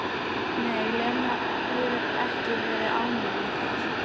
Nei, Lena hefur ekki verið ánægð með það.